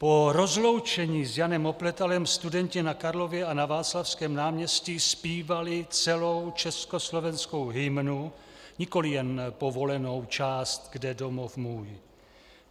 Po rozloučení s Janem Opletalem studenti na Karlově a na Václavském náměstí zpívali celou československou hymnu, nikoli jen povolenou část Kde domov můj.